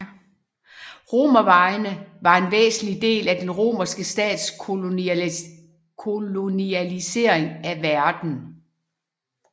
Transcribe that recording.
Romervejene var en væsentlig del af den romerske stats kolonialisering af verden